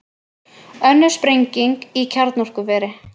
Önnur sprenging í kjarnorkuveri